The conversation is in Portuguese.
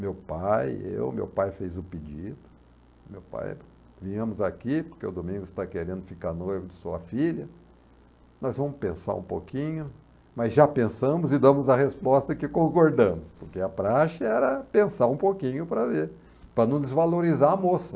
Meu pai, eu, meu pai fez o pedido, meu pai, viemos aqui porque o Domingos está querendo ficar noivo de sua filha, nós vamos pensar um pouquinho, mas já pensamos e damos a resposta que concordamos, porque a praxe era pensar um pouquinho para ver, para não desvalorizar a moça.